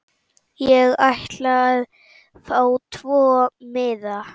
Ég ætla að fá tvo miða.